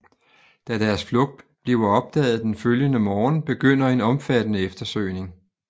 Da deres flugt bliver opdaget den følgende morgen begynder en omfattende eftersøgning